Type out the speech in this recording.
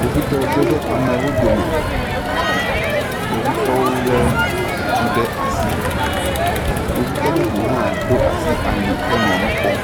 Kpovitɔwo ge ɖe amewo dome kpovitɔwo lé etu ɖe asi kpovitɔ bubu ha ɖo asi aki henɔ nu kpɔm